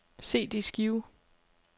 CD-skive